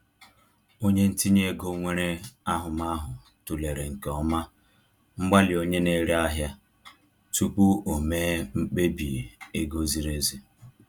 Onye ntinye ego nwere ahụmahụ tụlere nke ọma mgbalị onye na-ere ahịa tupu o mee mkpebi ego ziri ezi